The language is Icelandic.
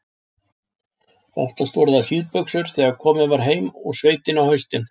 Oftast voru það síðbuxur þegar komið var heim úr sveitinni á haustin.